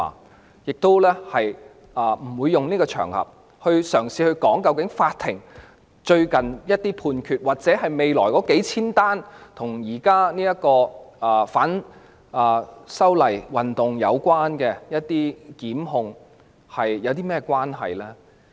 我亦不會透過這個場合，嘗試談論法庭最近的一些判決，或者未來數千宗與現時反修例運動有關的檢控個案。